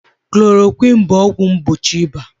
Chloroquine bụ ọgwụ mgbochi ịba.